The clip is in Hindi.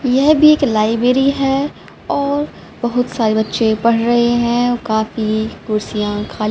यह भी एक लाइब्रेरी है और बहुत सारे बच्चे पढ़ रहे हैं और काफी कुर्सियां खाली--